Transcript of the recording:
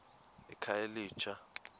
ekhayelitsha